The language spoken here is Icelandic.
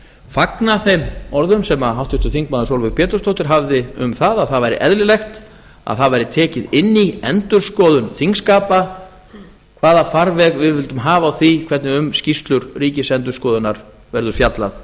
fagna þeim orðum sem háttvirtur þingmaður sólveig pétursdóttir hafði um það að það væri eðlilegt að það væri tekið inn í endurskoðun þingskapa hvaða farveg við vildum hafa á því hvernig um skýrslur ríkisendurskoðunar verður fjallað